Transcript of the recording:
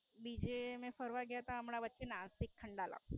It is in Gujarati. બીજે અમે ફરવા ગયા તા હમણાં વચ્ચે નાસિક ખંડાલા.